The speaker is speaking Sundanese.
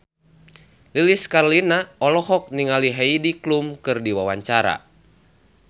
Lilis Karlina olohok ningali Heidi Klum keur diwawancara